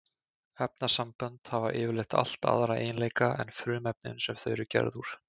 Efnasambönd hafa yfirleitt allt aðra eiginleika en frumefnin sem þau eru gerð úr.